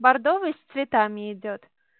бордовый с цветами идёт